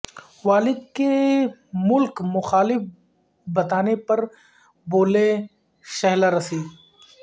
والد کے ملک مخالف بتانے پر بولیں شہلا راشد